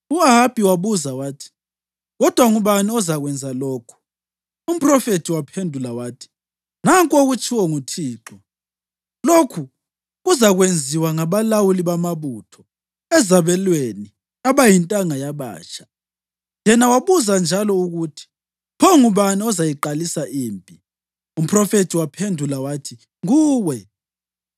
U-Ahabi wabuza wathi, “Kodwa ngubani ozakwenza lokhu?” Umphrofethi waphendula wathi, “Nanku okutshiwo nguThixo: ‘Lokhu kuzakwenziwa ngabalawuli bamabutho ezabelweni abayintanga yabatsha.’ ” Yena wabuza njalo ukuthi, “Pho ngubani ozayiqalisa impi?” Umphrofethi wamphendula wathi, “Nguwe.”